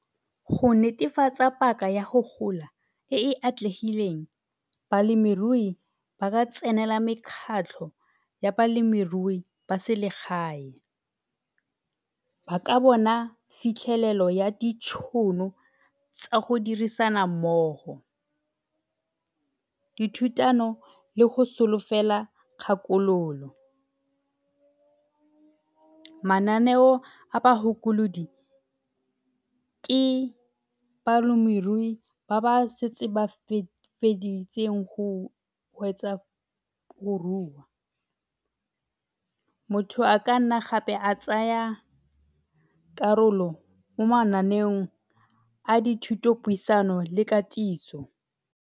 Go netefatsa paka ya go gola e e atlegileng balemirui ba ka tsenela mekgatlho ya balemirui ya selegae. Ba ka bona fitlhelelo ya ditšhono tsa go dirisana mmogo dithutano le go solofela kgakololo. Mananeo a ke balemirui ba ba setseng ba feditseng go wetsa go rua. Motho a ka nna gape a tsaya karolo mo mananeong a dithuto puisano le katiso.